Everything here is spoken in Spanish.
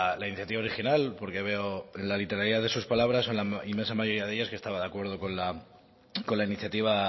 la iniciativa original porque veo en la literalidad de sus palabras o en la inmensa mayoría de ellas que estaba de acuerdo con la iniciativa